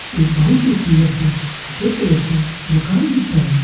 एक बहोत ही सुन्दर सु सफेद कलर कु मकान भी छा।